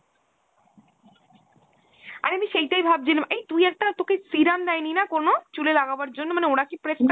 অরে আমি সেইটাই ভাবছিলাম এই তুই একটা তোকে serum দেয় নি না কোনো ? চুলে লাগাবার জন্য মানে ওরা কি prescribe